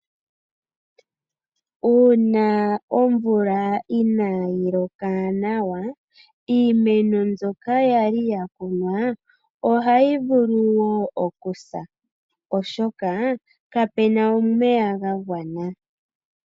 Uuna omvula inayi loka nawa, iimeno mbyoka yali yakunwa ohayi vulu okusa, oshoka kapena omeya ga gwana.